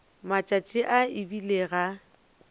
matšatši a e bile ga